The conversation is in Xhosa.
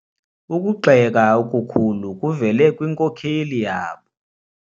Ukugxeka okukhulu kuvele kwinkokeli yabo.